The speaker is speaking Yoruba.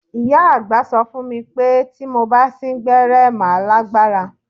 Ìyá àgbà sọ fún mi pé tí mo bá sín gbẹ́rẹ́ màá lágbára.